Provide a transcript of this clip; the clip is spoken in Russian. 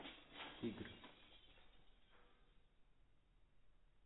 игры